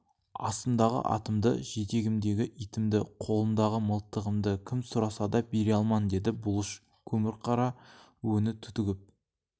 астымдағы атымды жетегімдегі итімді қолымдағы мылтығымды кім сұраса да бере алман деді бұлыш көмірқара өңі түтігіп